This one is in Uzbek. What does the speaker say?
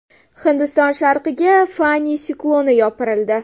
Hindiston sharqiga Fani sikloni yopirildi .